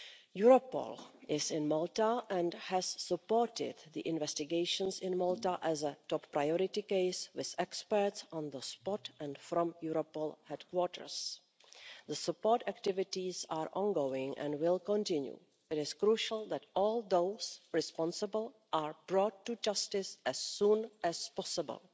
Europol is in Malta and has supported the investigations in Malta as a top priority case, with experts on the spot and from Europol headquarters. The support activities are ongoing and will continue. It is crucial that all those responsible are brought to justice as soon as possible.